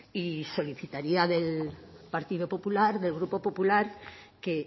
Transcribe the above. y solicitaría del partido popular del grupo popular que